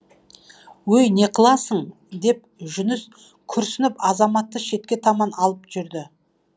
өй не қыласың деп жүніс күрсініп азаматты шетке таман алып жүрді